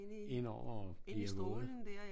Indover og bliver våde